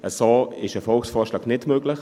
So ist ein Volksvorschlag nicht möglich.